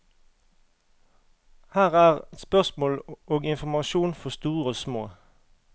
Her er spørsmål og informasjon for store og små.